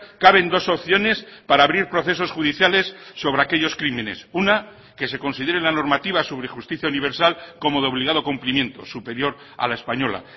caben dos opciones para abrir procesos judiciales sobre aquellos crímenes una que se considere la normativa sobre justicia universal como de obligado cumplimiento superior a la española